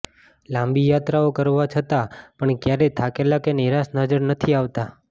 લાંબી યાત્રાઓ કરવા છતા પણ ક્યારેય થાકેલા કે નિરાશ નજર નથી આવતા